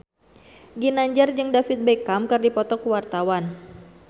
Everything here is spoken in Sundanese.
Ginanjar jeung David Beckham keur dipoto ku wartawan